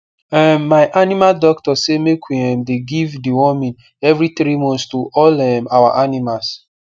um my animal doctor say make we um dey give deworming every three months to all um our animals